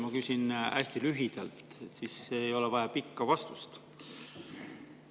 Ma küsin hästi lühidalt, siis ei ole ka vaja pikka vastust.